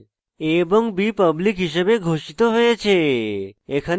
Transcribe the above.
a এবং b public হিসাবে ঘোষিত হয়েছে